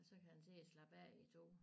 Og så kan han sidde og slappe af i tog